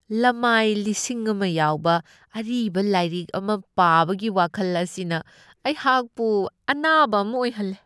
ꯂꯃꯥꯏ ꯂꯤꯁꯤꯡ ꯑꯃ ꯌꯥꯎꯕ ꯑꯔꯤꯕ ꯂꯥꯏꯔꯤꯛ ꯑꯃ ꯄꯥꯕꯒꯤ ꯋꯥꯈꯜ ꯑꯁꯤꯅ ꯑꯩꯍꯥꯛꯄꯨ ꯑꯅꯥꯕ ꯑꯃ ꯑꯣꯏꯍꯜꯂꯦ ꯫